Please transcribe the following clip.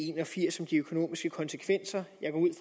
en og firs med de økonomiske konsekvenser